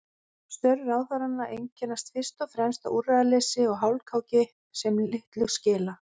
Störf ráðherranna einkennast fyrst og fremst af úrræðaleysi og hálfkáki sem litlu skila.